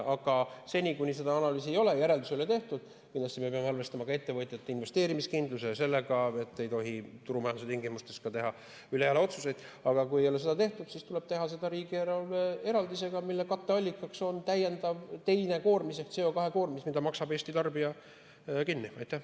Aga seni, kuni seda analüüsi ei ole, järeldusi ei ole tehtud – me peame kindlasti arvestama ka ettevõtjate investeerimiskindlusega ja sellega, et turumajanduse tingimustes ei tohi teha ülejalaotsuseid –, tuleb teha seda riigieelarve eraldisega, mille katteallikaks on täiendav, teine koormis ehk CO2 koormis, mille maksab kinni Eesti tarbija.